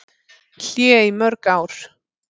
Hlé í mörg ár